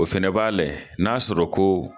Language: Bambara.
O fana b'a lɛ, n'a sɔrɔ ko